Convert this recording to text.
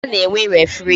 Mgba na-enwe referii